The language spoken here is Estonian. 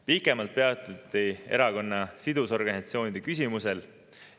Pikemalt peatuti erakonna sidusorganisatsioonide küsimusel.